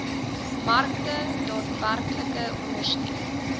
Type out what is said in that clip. markte daadwerklik ondersteun